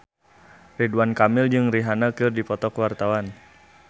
Ridwan Kamil jeung Rihanna keur dipoto ku wartawan